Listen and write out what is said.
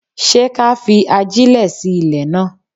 Ṣé ká fi ajẹ́lẹ̀ sí ilè náà?